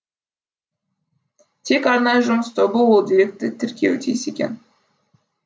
тек арнайы жұмыс тобы ол деректі тіркеуі тиіс екен